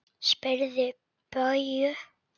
Spyrðu Bauju!